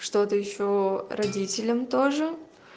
что-то ещё родителям тоже